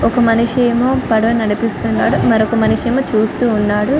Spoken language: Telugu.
ఒక మనిషి ఏమో పడవ నడిపిస్తున్నాడు మరొక మనిషి ఏమో చూస్తున్నాడు.